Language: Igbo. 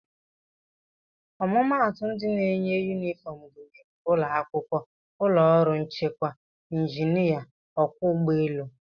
Ọmụmaatụ ndị na-eyi yunifọm gụnyere ụlọakwụkwọ, ụlọọrụ nchekwa, njinịa, ọkwọ ụgbọelu